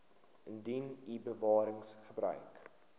indien u bewaringsgebiede